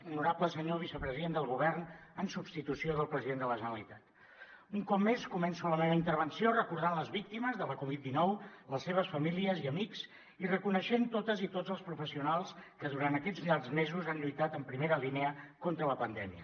honorable senyor vicepresident del govern en substitució del president de la generalitat un cop més començo la meva intervenció recordant les víctimes de la covid dinou les seves famílies i amics i reconeixent totes i tots els professionals que durant aquests llargs mesos han lluitat en primera línia contra la pandèmia